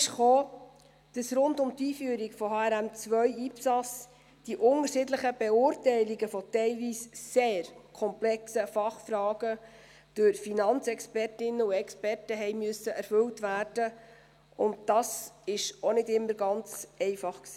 Hinzu kam auch, dass rund um die Einführung von HRM2/IPSAS die unterschiedlichen Beurteilungen von teilweise sehr komplexen Fachfragen durch Finanzexpertinnen und -experten erfüllt werden mussten, und das war auch nicht immer ganz einfach.